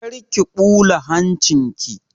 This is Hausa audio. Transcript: Kar ki ɓula hancin ki!